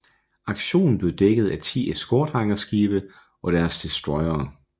Aktionen blev dækket af 10 eskortehangarskibe og deres destroyere